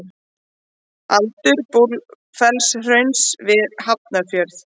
Aldur Búrfellshrauns við Hafnarfjörð.